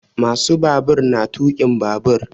Ma su babur na tuƙin babur